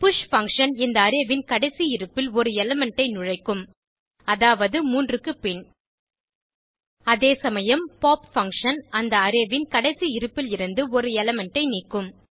push function இந்த array ன் கடைசி இருப்பில் ஒரு எலிமெண்ட் ஐ நுழைக்கும் அதாவது 3 க்கு பின் அதே சமயம் பாப் பங்ஷன் அந்த அரே ன் கடைசி இருப்பிலிருந்து ஒரு எலிமெண்ட் ஐ நீக்கும்